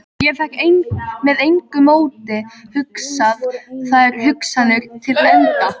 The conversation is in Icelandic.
Ég fékk með engu móti hugsað þær hugsanir til enda.